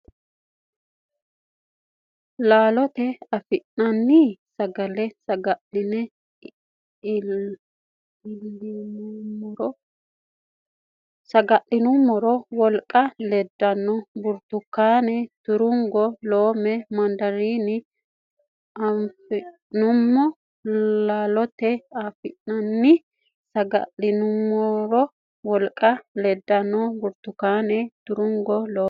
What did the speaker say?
Laalotenni afi nanni sagale saga linummoro wolqanna iibbille burtukaane turungo loome mandariine afi neemmo Laalotenni afi nanni sagale saga linummoro wolqanna iibbille burtukaane turungo loome.